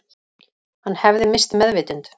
Hann hefði misst meðvitund